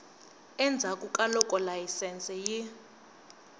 endzhaku ka loko layisense yi